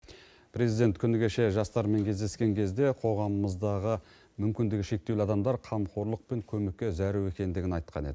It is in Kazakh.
президент күні кеше жастармен кездескен кезде қоғамымыздағы мүмкіндігі шектеулі адамдар қамқорлық пен көмекке зәру екендігін айтқан еді